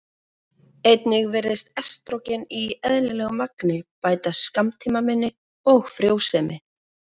Einnig virðist estrógen í eðlilegu magni bæta skammtímaminni og frjósemi.